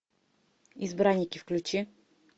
избранники включи